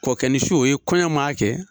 Kɔɔkɛ ni su o ye kɔɲɔ maa kɛ